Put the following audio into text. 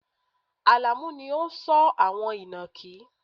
Alamu ni ó ń sọ́ àwọn inakí